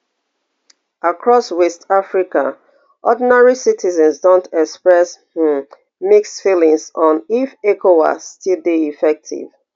across west africa ordinary citizens don express um mixed feelings on if ecowas still dey effective